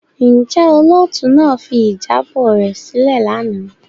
Njẹ olootu naa fi ijabọ rẹ silẹ lana?